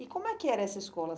E como é que era essa escola?